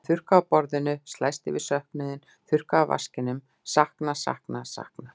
Ég þurrka af borðinu, slæst við söknuðinn, þurrka af vaskinum, sakna, sakna, sakna.